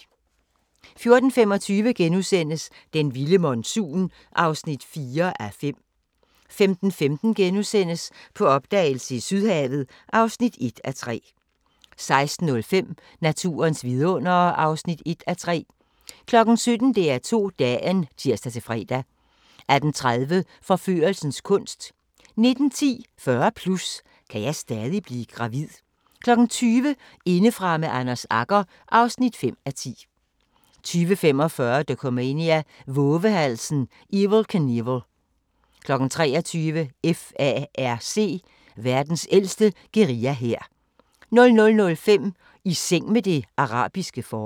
14:25: Den vilde monsun (4:5)* 15:15: På opdagelse i Sydhavet (1:3)* 16:05: Naturens vidundere (1:3) 17:00: DR2 Dagen (tir-fre) 18:30: Forførelsens kunst 19:10: 40+ – kan jeg stadig blive gravid? 20:00: Indefra med Anders Agger (5:10) 20:45: Dokumania: Vovehalsen Evel Knievel 23:00: FARC: Verdens ældste guerillahær 00:05: I seng med det arabiske forår